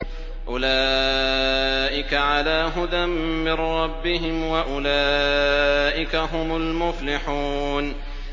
أُولَٰئِكَ عَلَىٰ هُدًى مِّن رَّبِّهِمْ ۖ وَأُولَٰئِكَ هُمُ الْمُفْلِحُونَ